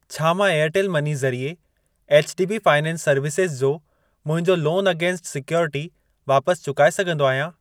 छा मां Airtel money ज़रिए एचडीबी फ़ाइनेंस सर्विसेज़ जो मुंहिंजो लोन अगेंस्ट सिक्योरिटी वापसि चुकाए सघंदो आहियां?